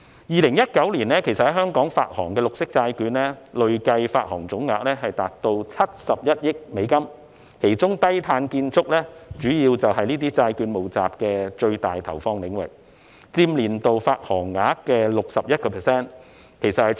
2019年在香港發行的綠色債券，累計發行總額達71億美元，其中低碳建築是這些債券募集的最大投放領域，佔年度發行額的 61%， 創歷來的新高。